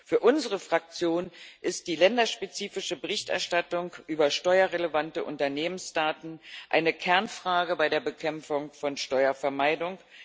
Für unsere Fraktion ist die länderspezifische Berichterstattung über steuerrelevante Unternehmensdaten eine Kernfrage bei der Bekämpfung von Steuervermeidung.